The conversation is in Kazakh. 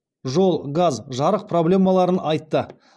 жол газ жарык проблемаларын айтты